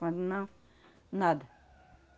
Quando não, nada.